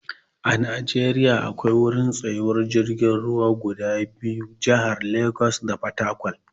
A Najeriya akwai wurin tsayuwar jirgin ruwa a jahohi guda biyu, jahar Legas da Fatakwal.